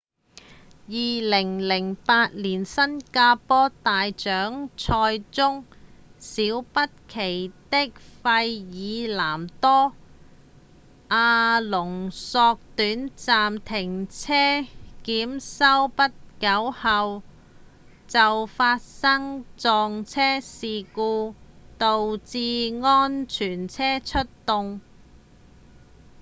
2008年新加坡大獎賽中小畢奇在費爾南多·阿隆索短暫停車檢修不久後就發生撞車事故導致安全車出動